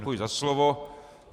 Děkuji za slovo.